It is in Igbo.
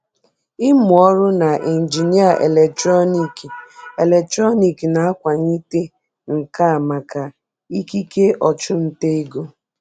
Ịmụ ọrụ na injinịa eletrọnịkị eletrọnịkị na-akwalite nka maka ikike ọchụnta ego.